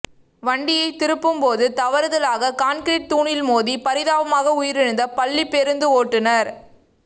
வண்டியை திருப்பும் போது தவறுதலாக கான்கிரீட் தூணில் மோதி பரிதாபமாக உயிரிழந்த பள்ளி பேருந்து ஓட்டுனர்